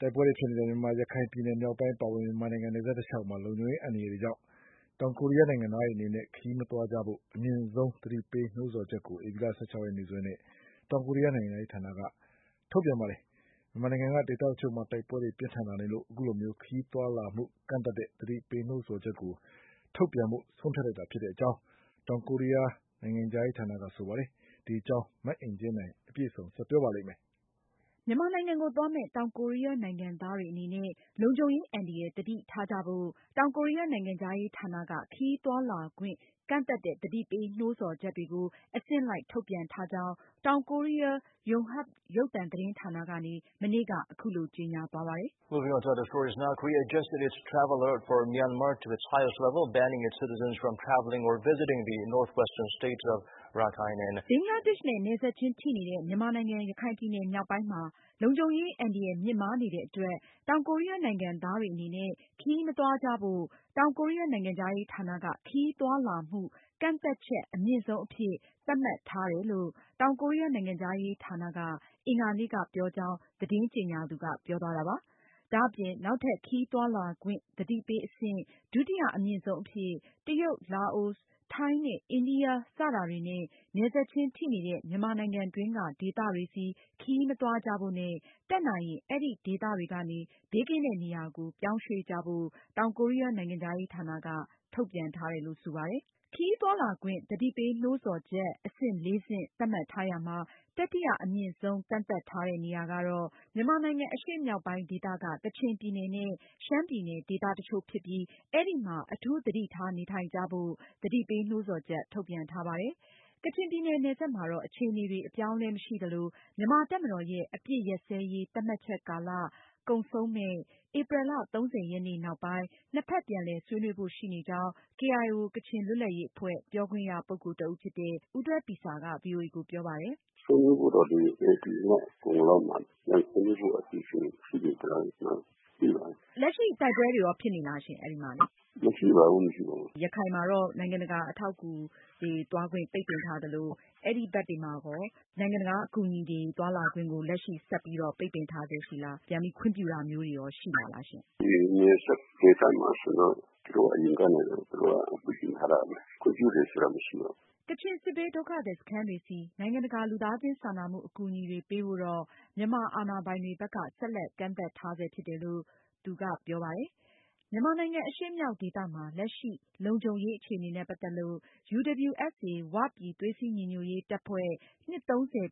တိုက်ပွဲတွေ ဖြစ်နေတဲ့ ရခိုင်ပြည်နယ် မြောက်ပိုင်းအပါအဝင် အခြား မြန်မာနိုင်ငံနယ်စပ် တလျောက်ဒေသတွေမှာ လုံခြုံရေးအန္တရာယ်ကြောင့် တောင်ကိုရီးယားနိုင်ငံသားတွေအနေနဲ့ ခရီးမသွားကြဖို့ အမြင့်ဆုံးသတိပေးနှိုးဆော်ချက်ကို ဧပြီလ ရက်နေ့ရက်စွဲနဲ့ တောင်ကိုရီးယား နိုင်ငံခြားရေးဌာနက ထုတ်ပြန်လိုက်ပါတယ်။ မြန်မာနိုင်ငံက ဒေသတချို့မှာ လက်နက်ကိုင်တိုက်ပွဲတွေ ပြင်းထန်လာတာကြောင့် အခုလို ခရီးသွားလာမှုကန့်သတ်တဲ့ သတိပေးနှိုးဆော်ချက်ကို ထုတ်ပြန်ဖို့ ဆုံးဖြတ်လိုက်တာဖြစ်ကြောင်း တောင်ကိုရီးယားနိုင်ငံခြားရေးဌာနက ပြောပါတယ်။ မအင်ကြင်းနိုင်က အပြည့်အစုံကို ဆက်လက်တင်ပြမှာပါ။ မြန်မာနိုင်ငံကိုသွားမယ့် တောင်ကိုရီးယားနိုင်ငံသားတွေအနေနဲ့ လုံခြုံရေးအန္တရာယ်သတိထားကြဖို့ တောင်ကိုရီးယားနိုင်ငံခြားရေးဌာနက ခရီးသွားလာခွင့် ကန့်သတ်တဲ့ သတိပေးနှိုးဆော်ချက်တွေကို အဆင့်လိုက် ထုတ်ပြန်ထားကြောင်း တောင်ကိုရီးယား Arirang ကိုးရီးယားနိုင်ငံတကာ ရုပ်သံသတင်းဌာနကနေ မနေ့က ကြေညာသွားပါတယ်။ ဘင်္ဂလားဒေ့ရှ်နဲ့ နယ်စပ်ချင်းထိနေတဲ့ မြန်မာနိုင်ငံ ရခိုင်ပြည်နယ်မြောက်ပိုင်းနဲ့ ချင်းပြည်နယ်မှာ လုံခြုံရေး အန္တရာယ်မြင့်မားနေတဲ့အတွက် တောင်ကိုရီးယားနိုင်ငံသားတွေအနေနဲ့ ခရီးမသွားကြဖို့ တောင်ကိုရီးယားနိုင်ငံခြားရေးဌာနက ခရီးသွားလာမှု ကန့်သတ်ချက် အမြင့်ဆုံးအဆင့် အဖြစ် သတ်မှတ်ထားတယ်လို့ တောင်ကိုရီးယားနိုင်ငံခြားရေးဌာနက အင်္ဂါနေ့က ပြောကြောင်း သတင်းကြေညာသူက ပြောသွားတာပါ။ ဒါအပြင် နောက်ထပ်ခရီးသွားလာခွင့် သတိပေးအဆင့် ဒုတိယအမြင့်ဆုံးအဖြစ်- တရုတ်၊ လာအိုစ်၊ ထိုင်းနဲ့ အိန္ဒိယ စတာတွေနဲ့ နယ်စပ်ချင်းထိနေတဲ့ မြန်မာနိုင်ငံတွင်းက ဒေသတွေဆီ ခရီးမသွားကြဖို့နဲ့ တတ်နိုင်ရင် အဲဒီဒေသတွေကနေ ဘေးကင်းတဲ့ နေရာကို ပြောင်းရွှေ့ကြဖို့ တောင်ကိုရီးယား နိုင်ငံခြားရေးဌာနက ထုတ်ပြန်ထားတယ်လို့ ဆိုပါတယ်။ ခရီးသွားလာခွင့် သတိပေး နှိုးဆော်ချက် အဆင့် ဆင့် သတ်မှတ်ထားရာမှာ တတိယအမြင့်ဆုံး ကန့်သတ်ထားတဲ့ နေရာကတော့- မြန်မာနိုင်ငံ အရှေ့မြောက်ပိုင်း ဒေသက ကချင်ပြည်နယ်နဲ့ ရှမ်းပြည်နယ် ဒေသတချို့ဖြစ်ပြီး အဲဒီမှာ အထူးသတိထားနေထိုင်ကြဖို့ သတိပေးနှိုးဆော်ချက် ထုတ်ပြန်ထားပါတယ်။ ကချင်ပြည်နယ် နယ်စပ်မှာတော့ အခြေအနေတွေ အပြောင်းအလဲမရှိသလို မြန်မာတပ်မတော်ရဲ့ အပစ်ရပ်စဲရေး သတ်မှတ်ချက်ကာလ ကုန်ဆုံးမယ့် ဧပြီလ ရက်နေ့နောက်ပိုင်း နှစ်ဖက်ပြန်လည် ဆွေးနွေးဖို့ ရှိနေကြောင်း KIO ကချင်လွတ်လပ်ရေးအဖွဲ့ ပြောခွင့်ရပုဂ္ဂိုလ်တဦးဖြစ်တဲ့ ဦးဒွဲပီဆားက ဗွီအိုအေကို ပြောပါတယ်။ “ဆွေးနွေးဖို့တော့လိုတယ် ဒီလအကုန်လောက်မှာ ဆွေးနွေးဖို့အစီအစဉ်ရှိပါတယ်။ လက်ရှိတိုက်ပွဲတွေရော ဖြစ်နေသလားရှင့် အဲဒီမှာလေ။ မရှိပါဘူး ရခိုင်မှာတော့ နိုင်ငံတကာ အထောက်အကူတွေသွားဖို့ ပိတ်ပင်ထားသလို၊ အဲဒီဘက်တွေမှာရော နိုင်ငံတကာအကူအညီတွေသွားလာခွင့်ကို လက်ရှိပိတ်ပင်ထားစဲရှိလား။ ပြန်ပြီးတော့ ခွင့်ပြုတာမျိုးတွေရော ရှိပါသလားရှင့်။ နယ်စပ်ဒေသမှာဆိုရင်တော့ သူတို့အရင်ကနေ ပိတ်ပင်ထားပါတယ်၊ ခွင့်ပြုတယ်ဆိုတာ မရှိပါဘူး။” ကချင် စစ်ဘေးဒုက္ခသည်စခန်းတွေဆီ နိုင်ငံတကာ လူသားချင်းစာနာမှုအကူအညီတွေပေးဖို့ တော့ မြန်မာအာဏာပိုင်တွေဘက်က ဆက်လက် ကန့်သတ်ထားဆဲဖြစ်တယ်လို့ ဦးဒွဲပီဆားက ပြောသွားပါတယ်။ မြန်မာနိုင်ငံ အရှေ့မြောက်ဒေသမှာ လက်ရှိ လုံခြုံရေး အခြေအနေနဲ့ ပတ်သက်လို့ UWSA ဝပြည်သွေးစည်းညီညွတ်ရေးတပ်ဖွဲ့ နှစ်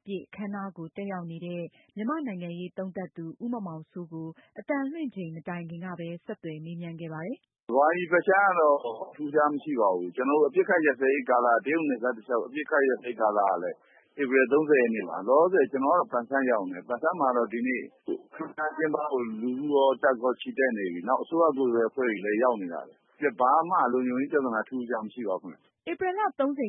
ပြည့်အခမ်းအနားကို တက်ရောက်နေတဲ့ မြန်မာ့နိုင်ငံရေးသုံးသပ်သူ ဦးမောင်မောင်စိုးကို အသံလွှင့်ချိန်မတိုင်ခင်ကပဲ ဆက်သွယ်မေးမြန်းခဲ့ပါတယ်။ “မြန်မာပြည်ဘက်အခြမ်းမှာတော့ ထူးခြားမှုမရှိပါဘူး။ ကျနော်တို့ အပစ်အခတ်ရပ်စဲရေးကာလ တရုတ်နယ်စပ်တလျောက် အပစ်အခတ်ရပ်စဲရေးကာလကလည်း ဧပြီလ ရက်နေ့ထိပါ။ လောလောဆည် ကျနော်ကတော့ ပန်ဆန်းရောက်နေတယ် ပန်ဆန်းမှာကတော့ ဒီနေ့ အခမ်းအနားကျင်းပဖို့ လူထုရော၊ တပ်ရော ချီတက်နေပြီ ။ နောက်အစိုးရကိုယ်စားလှယ်အဖွဲ့ရော ရောက်နေပါတယ်။ ပြီးတော့ ဘာမှ လုံခြုံရေးပြဿနာ ထူးထူးခြားခြားမရှိပါဘူးခင်ဗျ။” ဧပြီလ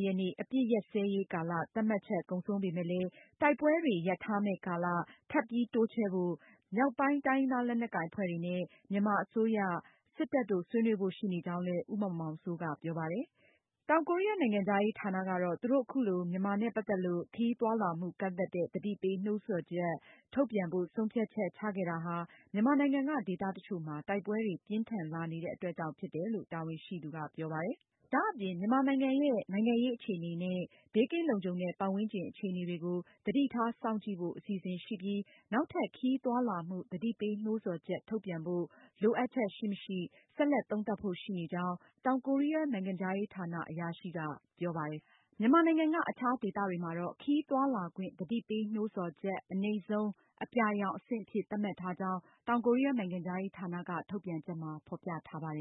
ရက်နေ့ အပစ်ရပ်စဲရေးကာလ သတ်မှတ်ချက်ကုန်ဆုံးပေမယ့်လည်း တိုက်ပွဲတွေ ရပ်ထားမယ့်ကာလ ထပ်ပြီးတိုးချဲ့ဖို့ မြောက်ပိုင်း တိုင်းရင်းသားလက်နက်ကိုင်အဖွဲ့တွေနဲ့ မြန်မာအစိုးရ၊ စစ်တပ်တို့ ဆွေးနွေးဖို့ရှိနေကြောင်းလည်း ဦးမောင်မောင်စိုးက ပြောပါတယ်။ တောင်ကိုရီးယားနိုင်ငံခြားရေးဌာနကတော့ သူတို့ အခုလို မြန်မာနဲ့ ပတ်သက်လို့ ခရီးသွားလာမှုကန့်သတ်တဲ့ သတိပေးနှိုးဆော်ချက်ထုတ်ပြန်ဖို့ ဆုံးဖြတ်ချက် ချခဲ့တာဟာ မြန်မာနိုင်ငံက ဒေသတချို့မှာ တိုက်ပွဲတွေ ပြင်းထန်လာနေတဲ့အတွက်ကြောင့် ဖြစ်တယ်လို့ တာဝန်ရှိသူက ပြောပါတယ်။ ဒါအပြင် မြန်မာနိုင်ငံရဲ့ နိုင်ငံရေးအခြေအနေနဲ့ ဘေးကင်းလုံခြုံတဲ့ပတ်ဝန်းကျင်အခြေအနေတွေကို သတိထားစောင့်ကြည့်ဖို့ အစီအစဉ်ရှိပြီး နောက်ထပ် ခရီးသွားလာမှု သတိပေးနှိုးဆော်ချက်ထုတ်ပြန်ဖို့ လိုအပ်ချက်ရှိမရှိကို ဆက်လက်သုံးသပ်ဖို့ရှိကြောင်း တောင်ကိုရီယား နိုင်ငံခြားရေးဌာန အရာရှိက ပြောပါတယ်။ မြန်မာနိုင်ငံက အခြားဒေသတွေမှာ ခရီးသွားလာခွင့် သတိပေးနှိုးဆော်ချက် အနိမ့်ဆုံး အပြာရောင်အဆင့်အဖြစ် သတ်မှတ်ထားကြောင်း တောင်ကိုရီးယားနိုင်ငံခြားရေးဌာနက ထုတ်ပြန်ချက်မှာ ဖေါ်ပြထားပါတယ်